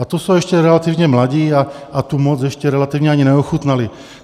A to jsou ještě relativně mladí a tu moc ještě relativně ani neochutnali.